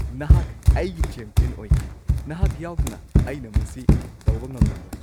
ꯅꯍꯥꯛ ꯑꯩꯒꯤ ꯆꯦꯝꯄꯤꯌꯟ ꯑꯣꯏꯈꯤ! ꯅꯍꯥꯛ ꯌꯥꯎꯗꯅ ꯑꯩꯅ ꯃꯁꯤ ꯇꯧꯕ ꯉꯝꯂꯝꯂꯣꯏ꯫